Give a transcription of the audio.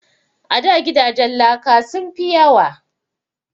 A da gidajen laka sun fi yawa